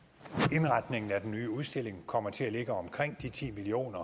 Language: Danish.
indretningen af den nye udstilling kommer til at ligge omkring de ti million